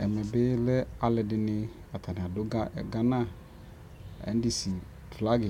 Ɛmɛ bɩ lɛ alʋ ɛdɩnɩ atanɩ adʋ Ghana NDC flag